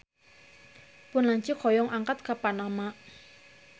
Pun lanceuk hoyong angkat ka Panama